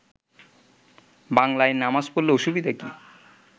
বাংলায় নামাজ পড়লে অসুবিধা কি